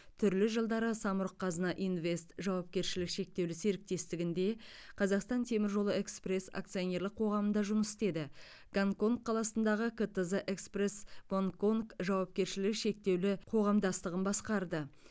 түрлі жылдары самұрық қазына инвест жауапкершілігі шектеулі серіктестігінде қазақстан темір жолы экспресс акционерлік қоғамында жұмыс істеді гонконг қаласындағы ктз экспресс гонг конг жауапкершілік шектеулі қоғамдастығын басқарды